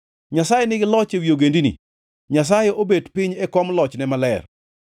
Nyasaye nigi loch ewi ogendini; Nyasaye obet piny e kom lochne maler.